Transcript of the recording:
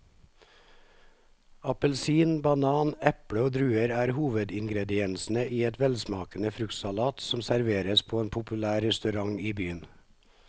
Appelsin, banan, eple og druer er hovedingredienser i en velsmakende fruktsalat som serveres på en populær restaurant i byen.